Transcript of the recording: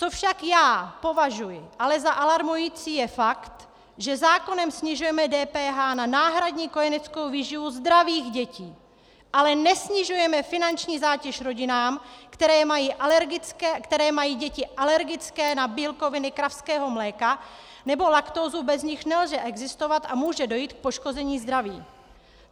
Co však já považuji ale za alarmující , je fakt, že zákonem snižujeme DPH na náhradní kojeneckou výživu zdravých dětí, ale nesnižujeme finanční zátěž rodinám, které mají děti alergické na bílkoviny kravského mléka nebo laktózu, bez nichž nelze existovat a může dojít k poškození zdraví.